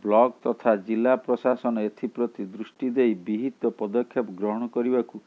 block ତଥା ଜିଲ୍ଲା ପ୍ରଶାସନ ଏଥିପ୍ରତି ଦୃଷ୍ଟି ଦେଇ ବିହିତ ପଦକ୍ଷେପ ଗ୍ରହଣ କରିବାକୁ